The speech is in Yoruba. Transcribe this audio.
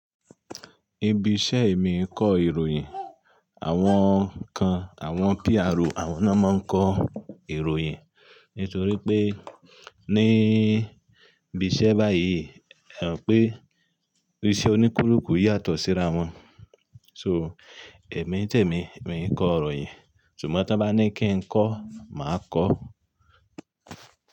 Ibi iṣẹ́ mi ń kọ ìròyìn, àwọn kan, àwọn PRO àwọn náà máa ń kọ ìròyìn. Nítorí pé ní ibi iṣẹ́ báyìí, pé iṣẹ́ oníkulùkù yàtọ̀ síra wọn. So, èmi tèmí, èmi ń kọ ìròyìn. Ṣùgbọ́n tí wọ́n bá ní kí n kọ́, màá kọ́.